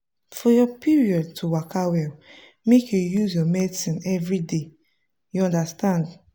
for your period to waka wel make you use your medicines everyday. you understand!